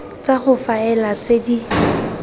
tsa go faela tse di